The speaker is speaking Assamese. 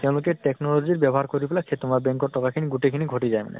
তেওঁলোকে technology ব্য়ৱহাৰ কৰি পেলাই সেই তোমাৰ BANK ৰ টকা খিনি গোটেই খিনি ঘটি যায় মানে ।